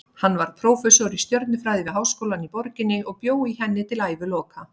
Hann varð prófessor í stjörnufræði við háskólann í borginni og bjó í henni til æviloka.